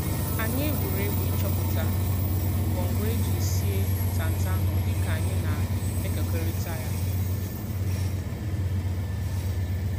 Anyị egwuregwu ịchọpụta ngwo ngwo e ji sie ntanta ahụ dịka anyị na-ekekorita ya.